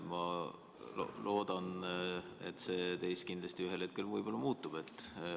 Ma loodan, et see ühel hetkel võib-olla muutub.